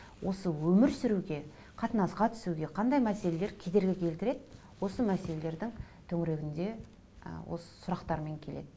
осы өмір сүруге қатынасқа түсуге қандай мәселелер кедергі келтіреді осы мәселелердің төңірегінде ы осы сұрақтармен келеді